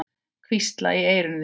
Hvísla í eyru þín.